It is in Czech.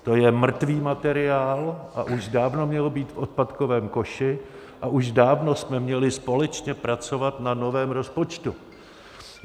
To je mrtvý materiál a už dávno měl být v odpadkovém koši a už dávno jsme měli společně pracovat na novém rozpočtu.